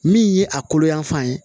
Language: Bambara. Min ye a kolo yanfan ye